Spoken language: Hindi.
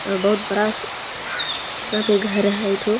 बोहुत बड़ा सा यहाँ पे घर हैं एठो।